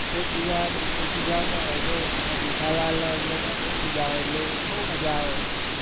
એક બીજા બંને ખિજાવતા હોય છે એમાં જેઠાલાલને અય્યરને બોવ ખિજાવે એટલે બોવ મજા આવે હમ